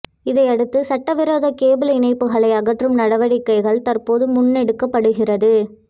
இதையடுத்து சட்டவிரோத கேபிள் இணைப்புக்களை அகற்றும் நடவடிக்கைகள் தற்போது முன்னெடுக்கப்படுகிறது